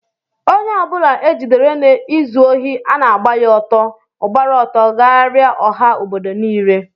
Ónyé ọbula ejidere na ịzụ ohi ana agba ya ọtọ, ogbara ọtọ gharia ọha ọbọdọ nille.